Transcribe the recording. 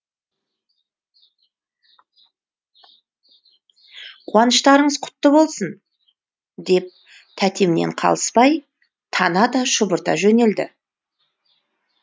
қуаныштарыңыз құтты болсын деп тәтемнен қалыспай тана да шұбырта жөнелді